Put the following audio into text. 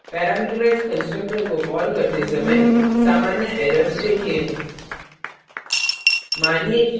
parameterised constructor को common करते समय सामान्य errors देखें